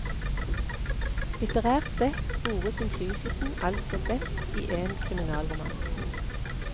Litterært sett spores innflytelsen altså best i en kriminalroman.